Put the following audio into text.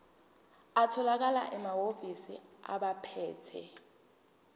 atholakala emahhovisi abaphethe